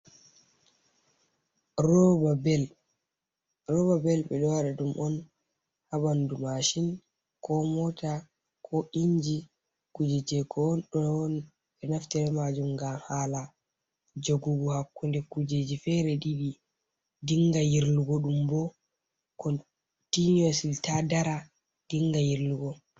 Rooba bel, ɓe ɗo waɗa ɗum on haa ɓanndu Maashin, koo Moota, koo iInji, kuuje jey ko ɓe naftira bee maajum ngam haala jogugo hakkunde kuujeeji feere ɗiɗi dinnga yirlugo ɗum bo, kontiiniyosli taa dara dinnga yirlugo.